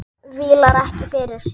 Vílar ekkert fyrir sér.